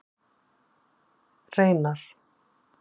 Reynar